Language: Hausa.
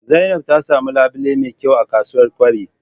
zainab na samun labile me kyau a ksuwar kwari